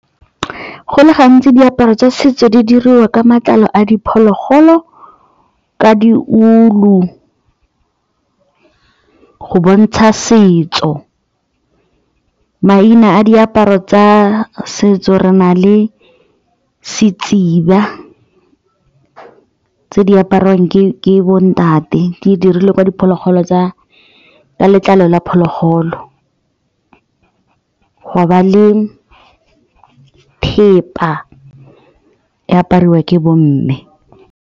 Go le gantsi diaparo tsa setso di diriwa ka matlalo a diphologolo, ka diulu go bontsha setso. Maina a diaparo tsa setso re na le setsiba tse di apariwang ke bontate di dirilwe ka letlalo la phologolo ga ba e apariwa ke bomme.